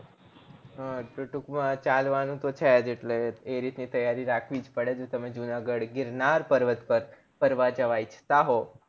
હ તો ટુક માં ચાલવાનું તો છેજ એટલે એ રીતની તૈયારી રાખવીજ પડે જો તમે જુનાગઢ ગીરનાર પર્વત પર ફરવા જવા ઈચ્છતા હો